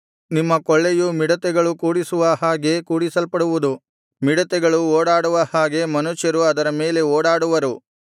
ನಿಮ್ಮ ಕೊಳ್ಳೆಯು ಮಿಡತೆಗಳು ಕೂಡಿಸುವ ಹಾಗೆ ಕೂಡಿಸಲ್ಪಡುವುದು ಮಿಡತೆಗಳು ಓಡಾಡುವ ಹಾಗೆ ಮನುಷ್ಯರು ಅದರ ಮೇಲೆ ಓಡಾಡುವರು